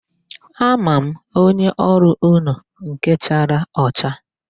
A ma m onye ọrụ unu, nke chara ọcha.